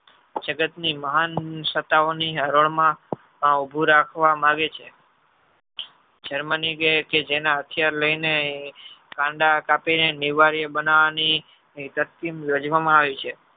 જગત ની મહાન સત્તા વોની હરોળ માં ઉભું રાખવા માંગે છે germany કી કે જેના હથિયાર લઈ ને કાંડા કાપી ને નિવારીય બનાવની તરકિંમ રજવામા આવી છે.